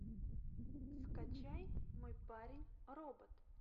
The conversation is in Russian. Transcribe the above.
скачай мой парень робот